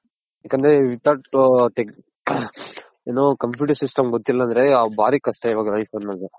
ಯಾಕಂದ್ರೆ without ಏನು computer system ಗೊತ್ತಿಲ್ಲ ಅಂದ್ರು ಭಾರಿ ಕಷ್ಟ ಇವಾಗ life ಅನ್ನೋದು.